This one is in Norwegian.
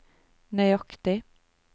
nøyaktig